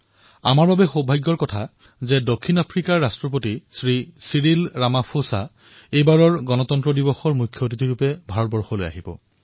আমাৰ বাবে এয়া সৌভাগ্যৰ কথা যে দক্ষিণ আফ্ৰিকাৰ ৰাষ্ট্ৰপতি শ্ৰী চিৰিল ৰামাফচা এইবাৰৰ গণতন্ত্ৰ দিৱসত মুখ্য অতিথি হিচাপে ভাৰতলৈ আহিব